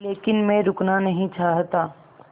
लेकिन मैं रुकना नहीं चाहता